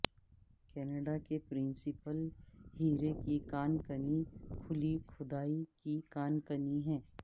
Canada کے principal ہیرے کی کان کنی کھلی کھدائی کی کان کنی ہیں